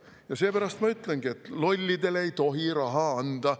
No seepärast ma ütlengi, et lollidele ei tohi raha anda.